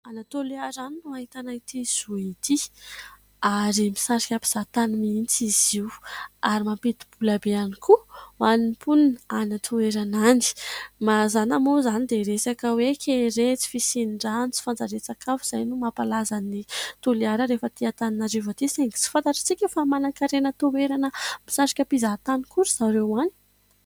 Any Toliara any no ahitana ity zohy ity ary misarika mpizahatany mihitsy izy io ; ary mampidi-bola be ihany koa ho an'ny mponina any toerana any. Mazana moa izany dia resaka hoe kere, tsy fisian-drano, tsy fanjarian-tsakafo izay no mampahalaza ny Toliara rehefa aty Antananarivo atỳ ; saingy tsy fantatrantsika fa manankarena toerana misarika mpizahatany koa ry zareo any.